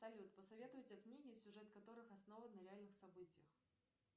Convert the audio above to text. салют посоветуйте книги сюжет которых основан на реальных событиях